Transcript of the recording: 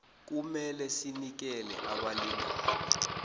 kumele sinikele abalingani